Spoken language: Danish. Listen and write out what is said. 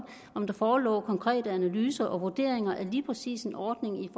om der forelå konkrete analyser og vurderinger af lige præcis en ordning i